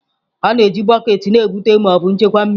A na-eji bọket na-ebute ma ọ bụ nchekwa mmiri.